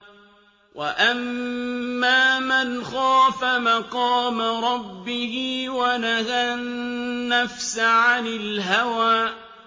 وَأَمَّا مَنْ خَافَ مَقَامَ رَبِّهِ وَنَهَى النَّفْسَ عَنِ الْهَوَىٰ